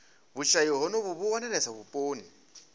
vhushayi honovhu vhu wanalesa vhuponi